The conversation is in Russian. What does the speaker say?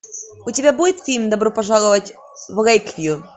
у тебя будет фильм добро пожаловать в лэйквью